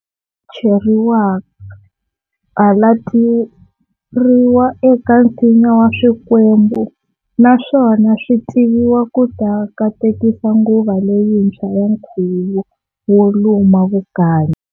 Cheriwa-halateriwa eka nsinya wa swikwembu, naswona swivitiwa kuta katekisa nguva leyintswa ya nkhuvo wo luma vukanyi.